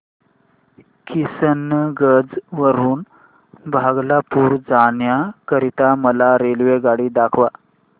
किशनगंज वरून भागलपुर जाण्या करीता मला रेल्वेगाडी दाखवा